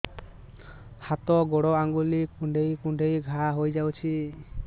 ହାତ ଗୋଡ଼ ଆଂଗୁଳି କୁଂଡେଇ କୁଂଡେଇ ଘାଆ ହୋଇଯାଉଛି